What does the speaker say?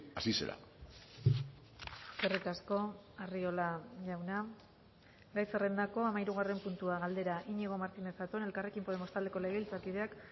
así será eskerrik asko arriola jauna gai zerrendako hamahirugarren puntua galdera iñigo martínez zatón elkarrekin podemos taldeko legebiltzarkideak